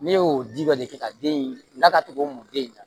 Ne y'o ji dɔ de kɛ ka den in la ka tugun mun den in na